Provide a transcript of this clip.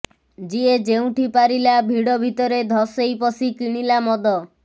ଯିଏ ଯେଉଁଠି ପାରିଲା ଭିଡ ଭିତରେ ଧସେଇ ପଶି କିଣିଲା ମଦ